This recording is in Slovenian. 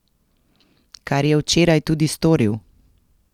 Kar je včeraj tudi storil.